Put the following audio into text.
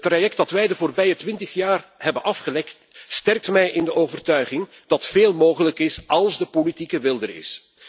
Het traject dat wij de afgelopen twintig jaar hebben afgelegd, sterkt mij in de overtuiging dat veel mogelijk is als de politieke wil er is.